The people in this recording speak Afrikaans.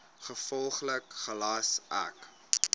gevolglik gelas ek